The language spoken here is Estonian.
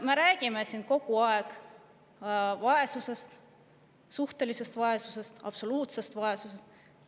Me räägime kogu aeg vaesusest: suhtelisest vaesusest ja absoluutsest vaesusest.